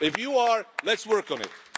If you are, let's work on